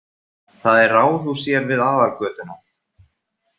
Það er ráðhús hér við aðalgötuna.